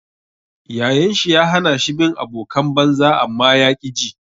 Yayan shi ya hana shi bin abokan banza amma ya ƙi ji.